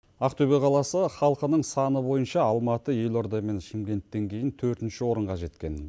ақтөбе қаласы халқының саны бойынша алматы елорда мен шымкенттен кейін төртінші орынға жеткен